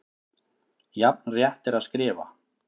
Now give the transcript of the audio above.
Jafn rétt er að skrifa